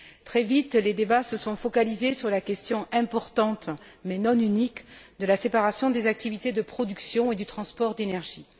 Très vite, les débats se sont focalisés sur la question importante, mais non unique, de la séparation des activités de production et du transport d'énergie.